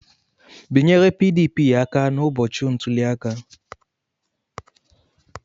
Bịanyere PDP aka ụbọchị ntuli aka!